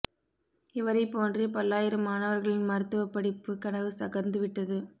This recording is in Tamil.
இவரைப் போன்றே பல்லாயிரம் மாணவர்களின் மருத்துவப் படிப்பு கனவு தகர்ந்து விட்டது